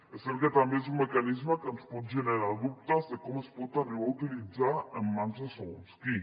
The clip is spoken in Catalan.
és cert que també és un mecanisme que ens pot generar dubtes de com es pot arribar a utilitzar en mans de segons qui